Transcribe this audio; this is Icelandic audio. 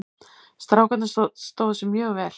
Strákarnir stóðu sig mjög vel.